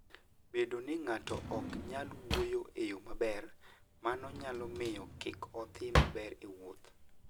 Bedo ni ng'ato ok nyal wuoyo e yo maber, mano nyalo miyo kik odhi maber e wuoth.